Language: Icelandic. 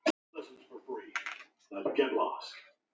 Engan þekkti